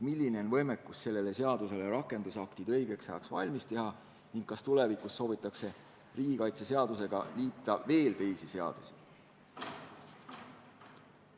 Milline on võimekus selle seaduse rakendusaktid õigeks ajaks valmis teha ning kas tulevikus soovitakse riigikaitseseadusega liita veel teisi seadusi?